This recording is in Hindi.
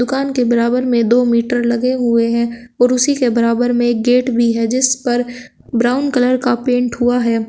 दुकान के बराबर में दो मीटर लगे हुए है और उसी के बराबर में गेट भी है जिस पर ब्राउन कलर का पेंट हुआ है।